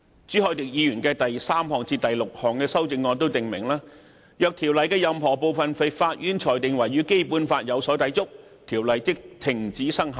朱凱廸議員的第三至六項修正案訂明，若經制定的條例的任何部分被法院裁定為與《基本法》有所抵觸，該條例即停止生效。